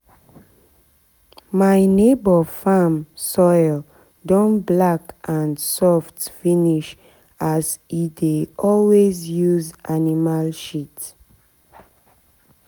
my neighbour farm soil don black and soft finish as e dey always use animal shit.